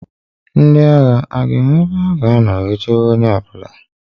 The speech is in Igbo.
Ndị agha a ga-enwe ebe ha ga-anọ wee chebe onye ọ bụla?